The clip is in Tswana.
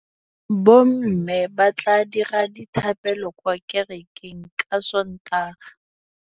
Bommê ba tla dira dithapêlô kwa kerekeng ka Sontaga.